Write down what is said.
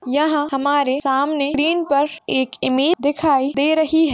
यह हमारे सामने फ्रेम पर एक इमेज दिखाई दे रही हैं।